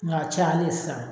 Nga a cayale sisan